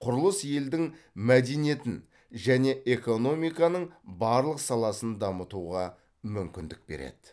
құрылыс елдің мәдениетін және экономиканың барлық саласын дамытуға мүмкіндік береді